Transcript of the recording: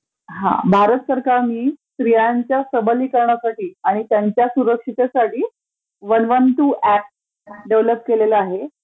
हा ..भारत सरकारनी स्त्रियांच्या सबलीकरणासाठी आणि त्यंच्या सुरक्षिततेसाठी वन वन टू हे ऍप डेव्हेलेप केलेलं आहे,